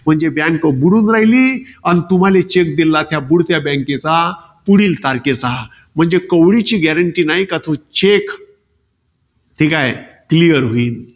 म्हणजे bank बुडून राहिली. अन तुम्हाले cheque दिलेला त्या बुडत्या bank चा पुढील तारखेचा. म्हणजे कवडीची gurentee नाही का तो cheque ठीकाय, clear होईल.